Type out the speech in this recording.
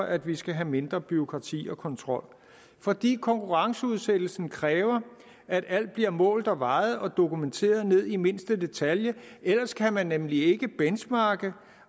at vi skal have mindre bureaukrati og kontrol fordi konkurrenceudsættelsen kræver at alt bliver målt og vejet og dokumenteret ned i mindste detalje ellers kan man nemlig ikke benchmarke